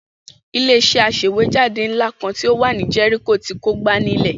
Ilé-iṣẹ́ aṣèwéjádé ńlá kan tó wà ní Jẹ́ríkò ti kógbá nílẹ̀.